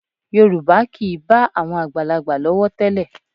Yorùbá kì í bá àwọn àgbàlagbà lọ́wọ́ tẹ́lẹ̀